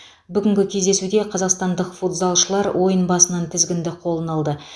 бүгінгі кездесуде қазақстандық футзалшылар ойын басынан тізгінді қолына алды